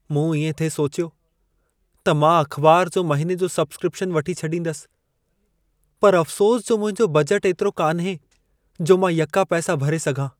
मूं इएं थिए सोचियो त मां अख़िबार जो महिने जो सब्सक्रिपिशन वठी छॾींदसि। पर अफ़्सोस जो मुंहिंजो बजट एतिरो कान्हे, जो मां यका पैसा भरे सघां।